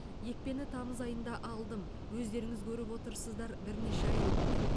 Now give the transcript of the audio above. екпені тамыз айында алдым өздеріңіз көріп отырсыздар бірнеше ай өтті